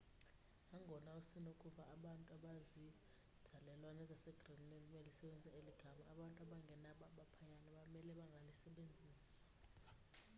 nangona usenokuva abantu abazinzalelwane zasegreenland belisebenzisa eli gama abantu abangengabo abaphaya bamele bangalisebenzisi